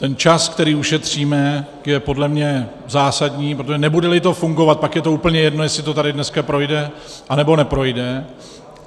Ten čas, který ušetříme, je podle mě zásadní, protože nebude-li to fungovat, pak je úplně jedno, jestli to tady dneska projde, anebo neprojde.